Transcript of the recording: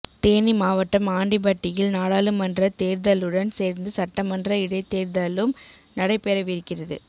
தேனி மாவட்டம் ஆண்டிப்பட்டியில் நாடாளுமன்றத் தேர்தலுடன் சேர்ந்து சட்டமன்ற இடைத்தேர்தலும் நடைபெறவிருக்கிறது